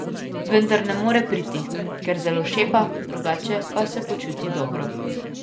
Vendar ne more priti, ker zelo šepa, drugače pa se počuti dobro.